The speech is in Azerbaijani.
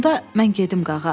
Onda mən gedim, Qağa.